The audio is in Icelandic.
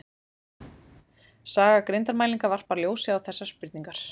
saga greindarmælinga varpar ljósi á þessar spurningar